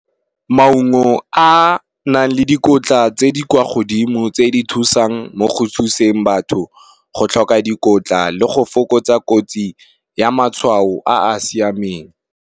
Maungo a nang le dikotla tse di kwa godimo tse di thusang mo go thuseng batho, go tlhoka dikotla le go fokotsa kotsi ya matshwao a a siameng.